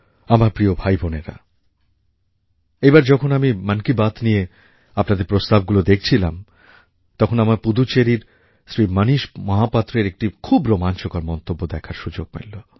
আমার প্রিয় ভাইবোনেরা এইবার যখন আমি মন কি বাত নিয়ে আপনাদের প্রস্তাবগুলো দেখছিলাম তখন আমার পুদুচেরির শ্রী মণীশ মহাপাত্রর একটি খুব রোমাঞ্চকর মন্তব্য দেখার সুযোগ মেলে